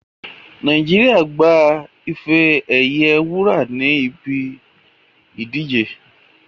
Naijiria gba ife ẹ̀yẹ wúrà ní ibi ìdíje